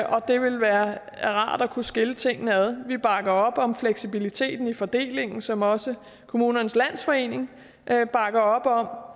og det ville være rart at kunne skille tingene ad vi bakker op om fleksibiliteten i fordelingen som også kommunernes landsforening bakker op om